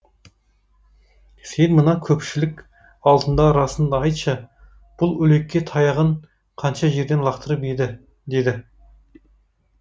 сен мына көпшілік алдында расынды айтшы бұл үлекке таяғын қанша жерден лақтырып еді деді